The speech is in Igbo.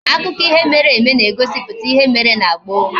Akụkọ ihe mere eme na eziputa ihe mere na gboo